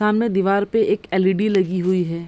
सामने दिवार पे एक एल.इ.डी. लगी हुई है।